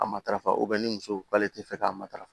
A matarafa ni muso k'ale tɛ fɛ k'a matarafa